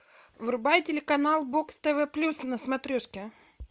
врубай телеканал бокс тв плюс на смотрешке